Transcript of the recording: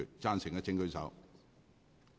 贊成的請舉手。